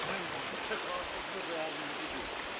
Nə gəlir, necə atası da əvvəl də gəlib düzdür.